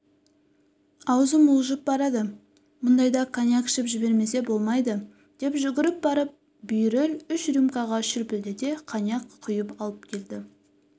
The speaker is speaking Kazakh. аузым уылжып барады мұндайда коньяк ішіп жібермесе болмайды деп жүгіріп барып бүйіріл үш рюмкаға шүпілдете коньяк құйып әкелді